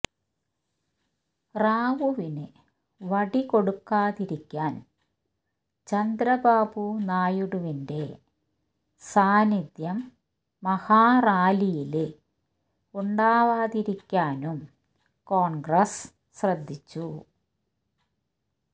റാവുവിന് വടി കൊടുക്കാതിരിക്കാന് ചന്ദ്രബാബു നായിഡുവിന്റെ സാന്നിധ്യം മഹാറാലിയില് ഉണ്ടാവാതിരിക്കാനും കോണ്ഗ്രസ് ശ്രദ്ധിച്ചു